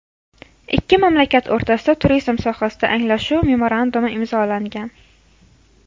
Ikki mamlakat o‘rtasida turizm sohasida Anglashuv memorandumi imzolangan.